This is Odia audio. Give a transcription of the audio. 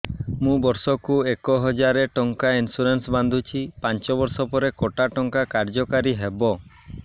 ମୁ ବର୍ଷ କୁ ଏକ ହଜାରେ ଟଙ୍କା ଇନ୍ସୁରେନ୍ସ ବାନ୍ଧୁଛି ପାଞ୍ଚ ବର୍ଷ ପରେ କଟା ଟଙ୍କା କାର୍ଯ୍ୟ କାରି ହେବ